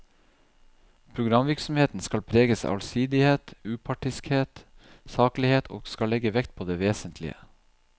Programvirksomheten skal preges av allsidighet, upartiskhet, saklighet og skal legge vekt på det vesentlige.